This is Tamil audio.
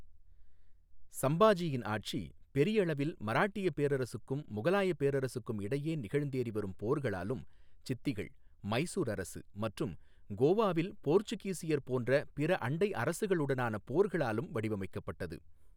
சம்பாஜியின் ஆட்சி பெரியளவில் மராட்டியப் பேரரசுக்கும் முகலாயப் பேரரசுக்கும் இடையே நிகழ்ந்தேறி வரும் போர்களாலும், சித்திகள், மைசூர் அரசு மற்றும் கோவாவில் போர்ச்சுகீசியர் போன்ற பிற அண்டை அரசுகளுடனான போர்களாலும் வடிவமைக்கப்பட்டது.